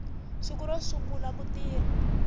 siku ro sungula ku tirha